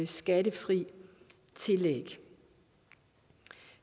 skattefri tillæg